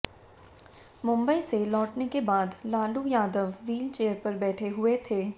मुंबई से लौटने के बाद लालू यादव व्हीलचेयर पर बैठे हुए थे